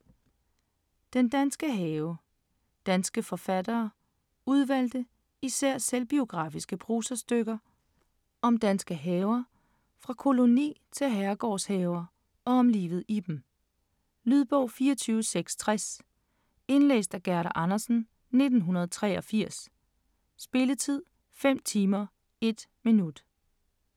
Den danske have Danske forfattere Udvalgte, især selvbiografiske prosastykker, om danske haver, fra koloni- til herregårdshaver, og om livet i dem. Lydbog 24660 Indlæst af Gerda Andersen, 1983. Spilletid: 5 timer, 1 minut.